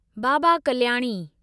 Baba Kalyani